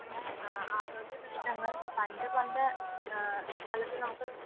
ആരോഗ്യപ്രശ്നങ്ങൾ പണ്ട് പണ്ട് കാലത്തു നമുക്ക്